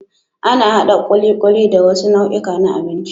Ana haɗa ƙuliƙuli da wasu nau'ika na binci.